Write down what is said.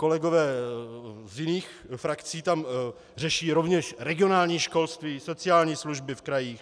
Kolegové z jiných frakcí tam řeší rovněž regionální školství, sociální služby v krajích.